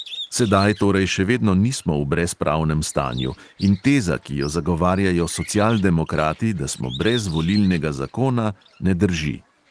Sedaj torej še vedno nismo v brezpravnem stanju in teza, ki jo zagovarjajo socialdemokrati, da smo brez volilnega zakona, ne drži.